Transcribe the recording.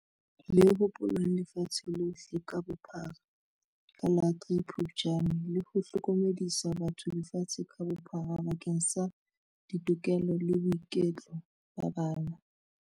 Le hopolwang lefatshe lohle ka bophara ka la 03 Phuptjane, le ho hlokomedisa batho lefatshe ka bophara bakeng sa ditokelo le boiketlo ba bana.